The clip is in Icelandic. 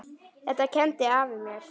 Þetta kenndi afi mér.